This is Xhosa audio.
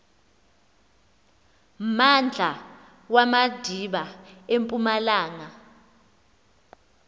mmandla wamadiba empumalanga